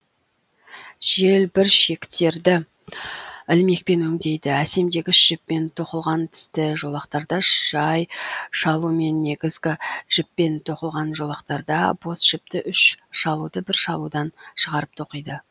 желбіршектерді ілмекпен өңдейді әсемдегіш жіппен тоқылған тісті жолақтарда жай шалумен негізгі жіппен тоқылған жолақтарда бос жіпті үш шалуды бір шалудан шығарып тоқиды